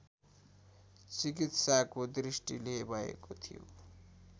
चिकित्साको दृष्टिले भएको थियो